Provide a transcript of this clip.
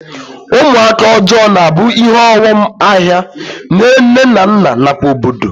Ụmụaka ọjọọ na-abụ ihe ọghọm ahịa nyere nne na nna nakwa obodo